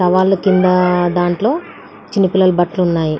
పొలాల కింద దాంట్లో చిన్నపిల్లల బట్టలు ఉన్నాయి.